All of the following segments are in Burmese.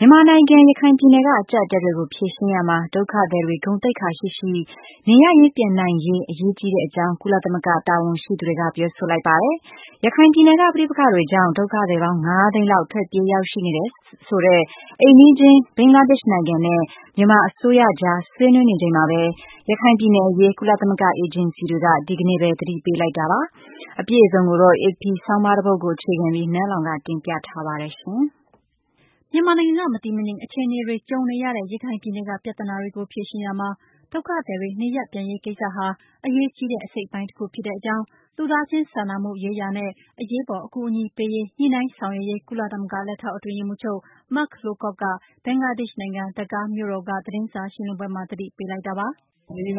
မြန်မာနိုင်ငံ ရခိုင်ပြည်နယ်က အကျပ်အတည်းကို ဖြေရှင်းရာမှာ ဒုက္ခသည်တွေ ဂုဏ်သိက္ခာရှိရှိ နေရပ်ရင်း ပြန်နိုင်ရေး အရေးကြီးတဲ့အကြောင်း ကုလသမဂ္ဂ တာဝန်ရှိသူတွေက ပြောဆိုလိုက်ပါတယ်။ ရခိုင်ပြည်နယ်က ပဋိပက္ခတွေကြောင့် ဒုက္ခသည်ပေါင်း ၅ သိန်းလောက် ထွက်ပြေးရောက်ရှိနေတယ်လို့ဆိုတဲ့ အိမ်နီးချင်း ဘင်္ဂလားဒေ့ရှ်နိုင်ငံနဲ့ မြန်မာအစိုးရကြား ဆွေးနွေးနေချိန်မှာပဲ ရခိုင်ပြည်နယ်အရေး ကုလသမဂ္ဂ အေဂျင်စီတွေက ဒီကနေ့ပဲ သတိပေးလိုက်ကြတာပါ။ အပြည့်အစုံကိုတော့ AP သတင်းဆောင်းပါးကို အခြေခံပြီး နန်းလောင်ဝ်က တင်ပြထားပါတယ်။ မြန်မာနိုင်ငံက မတည်မငြိမ် အခြေအနေတွေ ကြုံနေရတဲ့ ရခိုင်ပြည်နယ်က ပြဿနာတွေကို ဖြေရှင်းရာမှာ ဒုက္ခသည်တွေ နေရပ်ပြန်ရေးကိစ္စဟာ အရေးကြီးတဲ့ အစိတ်အပိုင်းတခုဖြစ်တဲ့အကြောင်း လူသားချင်းစာနာမှုရေးရာနဲ့ အရေးပေါ် အကူအညီပေးရေး ညှိနှိုင်းဆောင်ရွက်ရေး ကုလသမဂ္ဂ လက်ထောက်အတွင်းရေးမှူးချုပ် Mark Lowcock က ဘင်္ဂလားဒေ့ရှ်နိုင်ငံ Dahka မြို့တော်က သတင်းစာရှင်းလင်းပွဲမှာ သတိပေးလိုက်တာပါ။ “လက်ရ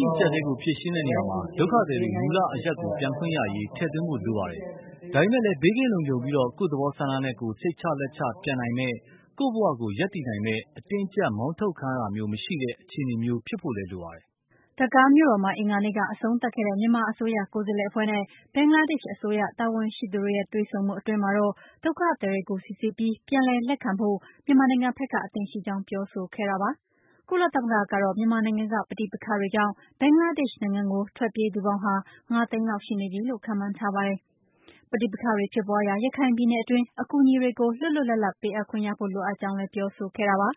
ှိအကျပ်အတည်းကို ဖြေရှင်းရာမှာ ဒုက္ခသည်တွေ မူလအရပ်ကို ပြန်ခွင့်ရရေး ထည့်သွင်းဖို့လိုပါတယ်။ ဒါပေမဲ့လည်း ဘေးကင်းလုံခြုံပြီးူ၊ ကိုယ့်သဘောဆန္ဒနဲ့ကိုယ် စိတ်ချလက်ချ ပြန်နိုင်မယ့်၊ ကိုယ့်ဘဝကို ရပ်တည်နိုင်မယ့် အတင်းအကျပ် မောင်းထုတ်ခံရတာမျိုး မရှိတဲ့ အခြေအနေမျိုး ဖြစ်ဖို့လည်းလိုပါတယ်။” Dahka မြို့တော်မှာ အင်္ဂါနေ့က အဆုံးသတ်ခဲ့တဲ့ မြန်မာအစိုးရ ကိုယ်စားလှယ်အဖွဲ့နဲ့ ဘင်္ဂလားဒေ့ရှ်အစိုးရ တာဝန်ရှိသူတွေရဲ့ တွေ့ဆုံမှု အတွင်းမှာတော့ ဒုက္ခသည်တွေကို စိစစ်ပြီး ပြန်လည်လက်ခံဖို့ မြန်မာနိုင်ငံဘက်က အသင့်ရှိကြောင်း ပြောဆိုခဲ့တာပါ။ ကုလသမဂ္ဂကတော့ မြန်မာနိုင်ငံက ပဋိပက္ခတွေကြောင့် ဘင်္ဂလားဒေ့ရှ်နိုင်ငံကို ထွက်ပြေးသူပေါင်းဟာ ၅ သိန်းလောက် ရှိနေပြီလို့ ခန့်မှန်းထားပါတယ်။ ပဋိပက္ခတွေ ဖြစ်ပွားရာ ရခိုင်ပြည်နယ်အတွင်း အကူအညီတွေကို လွတ်လွတ်လပ်လပ် ပေးအပ်ခွင့်ရဖို့ လိုအပ်ကြောင်း ပြောဆိုခဲ့တာပါ။ "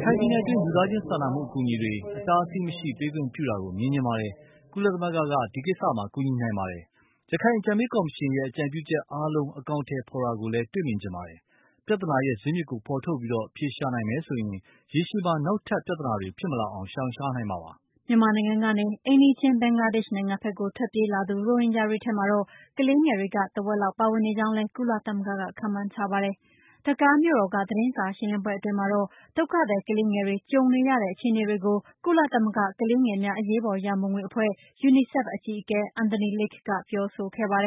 ရခိုင်ပြည်နယ်တွင်း လူသားချင်းစာနာမှုအကူအညီတွေ အတားအဆီးမရှိ ပေးခွင့်ပြုတာကို မြင်ချင်ပါတယ်။ ကုလသမဂ္ဂက ဒီကစ္စမှာ ကူညီနိုင်ပါတယ်။ ရခိုင်အကြံပေးကော်မရှင်ရဲ့ အကြံပြုချက်အားလုံး အကောင်အထည်ဖော်တာကိုလည်း တွေ့မြင်ချင်ပါတယ်။ ပြဿနာရဲ့ ဇစ်မြစ်ကိုဖော်ထုတ်ပြီး အဖြေရှာနိုင်မယ်ဆိုရင် ရေရှည်မှာ နောက်ထပ်ပြဿနတွေဖြစ်မလာအောင် ရှောင်ရှားနိုင်မှာပါ။" မြန်မာနိုင်ငံကနေ အိမ်နီးချင်း ဘင်္ဂလားဒေ့ရှ်နိုင်ငံဘက်ကို ထွက်ပြေးလာသူ ရိုဟင်ဂျာတွေထဲမှာတော့ ကလေးငယ်တွေက ထက်ဝက်လောက် ပါဝင်နေကြောင်းလည်း ကုလသမဂ္ဂက ခန့်မှန်းထားပါတယ်။ ဒက္ကားမြို့တော်က သတင်းစာရှင်းလင်းပွဲ အတွင်းမှာတော့ ဒုက္ခသည် ကလေးငယ်တွေ ကြုံနေရတဲ့ အခြေအနေတွေကို ကုလသမဂ္ဂ ကလေးငယ်များ အရေးပေါ် ရန်ပုံငွေအဖွဲ့ UNICEF အကြီးအကဲ Anthony Lake ကပြောဆိုခဲ့တာပါ။ “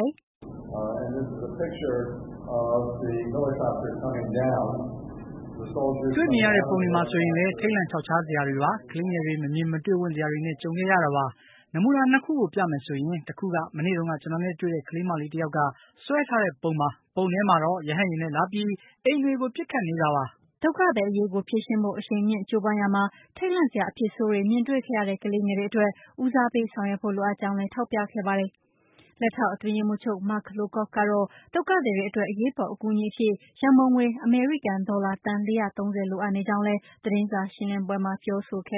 တွေ့ရမြင်ရတဲ့ ပုံတွေမှာဆိုရင်လည်း ထိတ်လန့်ချောက်ချားစရာတွေပါ၊ ကလေးငယ်တွေ မမြင်မတွေ့ဝံ့စရာတွေနဲ့ ကြုံခဲ့ရတာပါ။ နမူနာ ၂ ခုကို ပြမယ်ဆိုရင် တခုက မနေ့တုန်းက ကျနော်နဲ့တွေ့တဲ့ ကလေးမလေးတယောက်က ဆွဲထားတဲ့ပုံပါ၊ ပုံထဲမှာတော့ ရဟတ်ယာဉ်နဲ့လာပြီး အိမ်တွေကို ပစ်ခတ်နေတဲ့ပုံတွေပါ။” ဒုက္ခသည်အရေးကို ဖြေရှင်းဖို့ အရှိန်မြှင့် ကြိုးပမ်းရာမှာထိတ်လန့်စရာ အဖြစ်ဆိုးတွေမြင်တွေ့ခဲ့တဲ့ ကလေးတွေအတွက် ဦးစားပေးဆောင်ရွက်ဖို့ လိုအပ်ကြောင်းလည်း ထောက်ပြခဲ့တာပါ။ လက်ထောက်အတွင်းရေးမှူးချုပ် Mark Lowcock ကတော့ ဒုက္ခသည်တွေအတွက် အရေးပေါ် အကူအညီအဖြစ် ရန်ပုံငွေ အမေရိကန်ဒေါ်လာသန်း ၄၃၀ လိုအပ်နေကြောင်းလည်း သတင်းစာရှင်းလင်းပွဲမှာ ပြောဆိုခဲ့